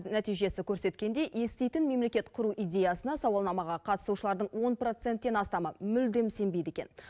нәтижесі көрсеткендей еститін мемлекет құру идеясына сауалнамаға қатысушылардың он проценттен астамы мүлдем сенбейді екен